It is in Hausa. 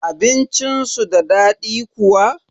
Abincin su da daɗi kuwa?